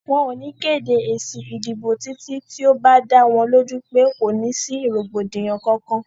Wọ́n ò ní kéde èsì ìdìbò títí tí ó bá dá wọn lójú pé kò ní sí rògbòdìyàn Kankan.